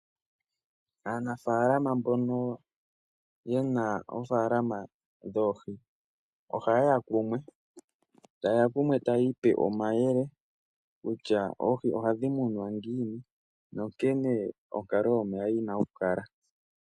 Aanafaalama mbono yena oofaalama dhoohi oha yeya kumwe, eta yiipe omayele kutya oohi ohadhi munwa ngiini nonkene onkalo mo yina okukula.